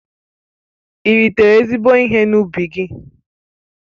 Ị́ ritere ezigbo ihe n'ubi gị?